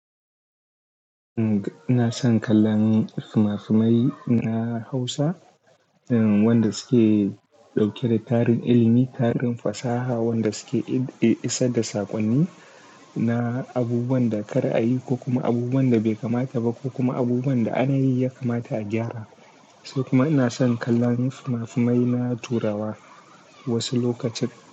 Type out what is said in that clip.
Uhm, na son kallon fimafimai na Hausa, wanda suke ɗauke da tarihin ilimi, tarihin fasaha, wanda suke isar da saƙonni na abubuwan da kar a yi ko kuma abubuwan da bai kamata ba ko kuma abubuwan da ana yi ya kamata a gyara. Sai kuma ina son kallon fimafimai na turawa wasu lokacin.